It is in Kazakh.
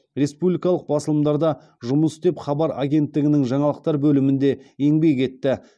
республикалық басылымдарда жұмыс істеп хабар агенттігінің жаңалықтар бөлімінде еңбек етті